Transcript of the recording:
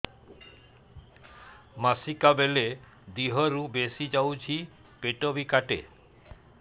ମାସିକା ବେଳେ ଦିହରୁ ବେଶି ଯାଉଛି ପେଟ ବି କାଟେ